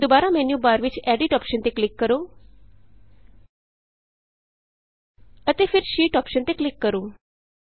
ਹੁਣ ਦੁਬਾਰਾ ਮੈਨਯੂਬਾਰ ਵਿਚ ਐਡਿਟ ਅੋਪਸ਼ਨ ਤੇ ਕਲਿਕ ਕਰੋ ਅਤੇ ਫਿਰ ਸ਼ੀਟ ਅੋਪਸ਼ਨ ਤੇ ਕਲਿਕ ਕਰੋ